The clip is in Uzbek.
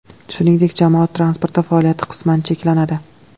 Shuningdek, jamoat transporti faoliyati qisman cheklanadi.